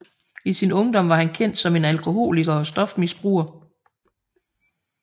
I sin ungdom var han kendt som en alkoholiker og stofmisbruger